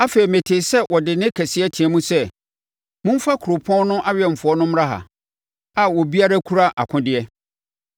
Afei metee sɛ ɔde nne kɛseɛ team sɛ, “Momfa kuropɔn no awɛmfoɔ no mmra ha, a obiara kura akodeɛ.”